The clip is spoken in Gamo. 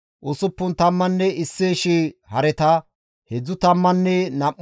Heedzdzu tammanne nam7u shii adde erontta geela7ota.